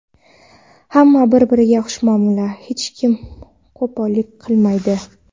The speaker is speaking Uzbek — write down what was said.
Hamma bir-biriga xushmuomala, hech kim qo‘pollik qilmaydi.